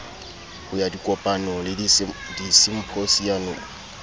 ho ya dikopanong le disimphosiamong